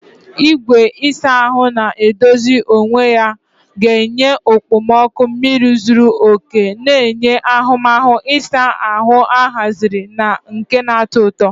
Igwe ịsa ahụ na-edozi onwe ya ga-enye okpomọkụ mmiri zuru oke, na-enye ahụmahụ ịsa ahụ ahaziri na nke na-atọ ụtọ.